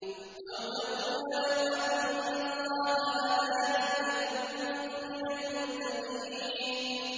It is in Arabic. أَوْ تَقُولَ لَوْ أَنَّ اللَّهَ هَدَانِي لَكُنتُ مِنَ الْمُتَّقِينَ